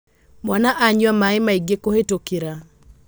Mwana anyua maĩmaingĩkũhĩtũkĩra.